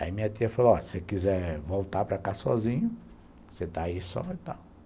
Aí minha tia falou, ó, se você quiser voltar para cá sozinho, você está aí e só vai estar.